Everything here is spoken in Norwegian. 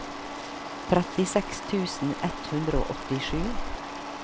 trettiseks tusen ett hundre og åttisju